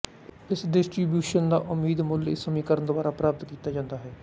ਇਸ ਡਿਸਟ੍ਰੀਬਿਊਸ਼ਨ ਦਾ ਉਮੀਦ ਮੁੱਲ ਇਸ ਸਮੀਕਰਨ ਦੁਆਰਾ ਪ੍ਰਾਪਤ ਕੀਤਾ ਜਾਂਦਾ ਹੈ